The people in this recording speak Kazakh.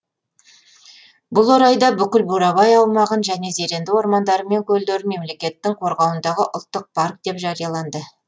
бұл орайда бүкіл бурабай аумағын және зеренді ормандары мен көлдерін мемлекеттің қорғауындағы ұлттық парк деп жарияланды